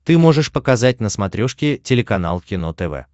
ты можешь показать на смотрешке телеканал кино тв